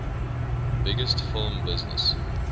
biggest film business